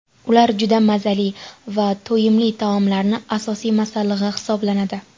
Ular juda mazali va to‘yimli taomlarning asosiy masallig‘i hisoblanadi.